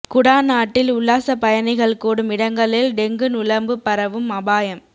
குடாநாட்டில் உல்லாச பயணிகள் கூடும் இடங்களில் டெங்கு நுளம்பு பரவும் அபாயம்